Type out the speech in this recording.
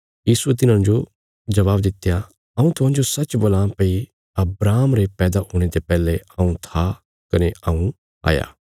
यीशुये तिन्हाने जबाब दित्या हऊँ तुहांजो सच्च बोलां भई अब्राहम रे पैदा हुणे ते पैहले हऊँ था कने हऊँ आ